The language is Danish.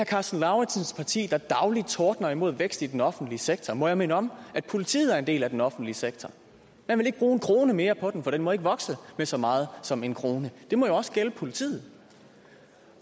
karsten lauritzens parti der dagligt tordner imod vækst i den offentlige sektor må jeg minde om at politiet er en del af den offentlige sektor man vil ikke bruge en krone mere på den for den må ikke vokse med så meget som en krone det må jo også gælde politiet